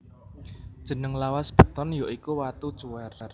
Jeneng lawas beton ya iku watu cuwèr